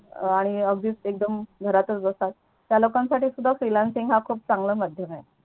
आणि अगदी एकदम घरातच बस त्या लोकांसाठी Freelancing हा खूप चान्गला माध्यम आहे